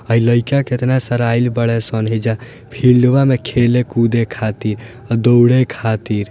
ए लयका कतना सड़ाइल बाड़ेसन एजा फिल्डवा में खेले-कूदे खातिर दौड़े खातिर।